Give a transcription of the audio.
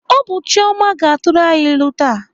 Ọ bụ Chioma ga-atụrụ anyị ilu taa.